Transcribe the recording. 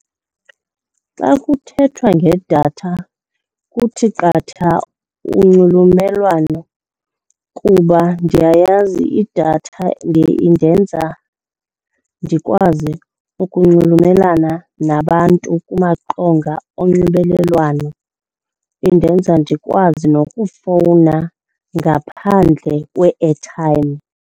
Xa kuthethwa ngedatha kuthi qatha unxulumelwano kuba ndiyayazi idatha indenza ndikwazi ukunxulumelana nabantu kumaqonga onxibelelwano, indenza ndikwazi nokufowuna ngaphandle kwe-airtime.